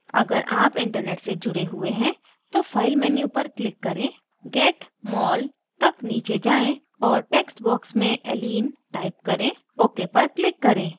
अगर आप internet से जुड़े हुए हैं तो file menu पर click करें get mol तक नीचे जाएँ और text box में allene type करें ok पर click करें